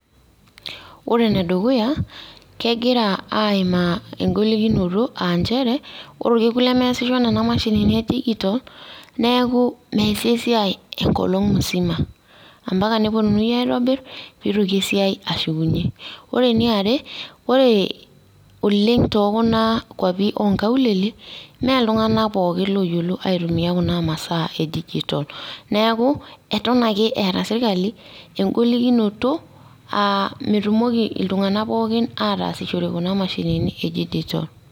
Ore ene dukuya kegira aimaa engolikinoto aa nchere ore orkekun lemesisho nena mashinini e digital neku mesi asiai enkolong musima, ampaka neponuni aitobir pitoki esiai ashukunyie . Ore eniaare ore oleng te kuna kwapi oonkaulele mee iltunganak pookin oyiolo aitumia kuna masaa e digitl neku aton ake eeta sirkali engolikinoto aa metukimoki iltunganak poooki aatasishore kuna mashinini e digital.